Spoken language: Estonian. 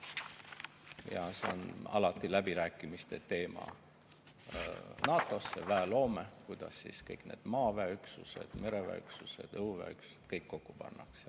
Ja see on alati läbirääkimiste teema – NATO-sse väe loome, kuidas kõik need maaväeüksused, mereväeüksused, õhuväeüksused kokku pannakse.